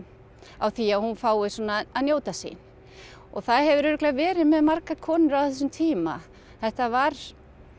á því að hún fái að njóta sín og það hefur örugglega verið með margar konur á þessum tíma þetta var